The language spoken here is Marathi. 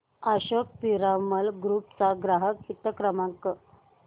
अशोक पिरामल ग्रुप चा ग्राहक हित क्रमांक